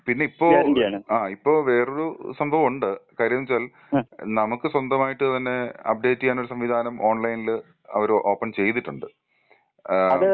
ആ പിന്നെ പിന്നെ ഇപ്പോ ആ ഇപ്പോ വേറെയൊരു സംഭവമുണ്ട് കാര്യം എന്ത് വെച്ചാൽ നമുക്ക് സ്വന്തമായിട്ട് തന്നെ അപ്ഡേറ്റ് യ്യാനുള്ള ഒരു സംവിധാനം ഓൺലൈനില് അവര് ഓപ്പൺ ചെയ്തിട്ടുണ്ട് ഏഹ്.